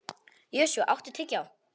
Joshua, áttu tyggjó?